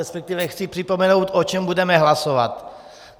Respektive, chci připomenout, o čem budeme hlasovat.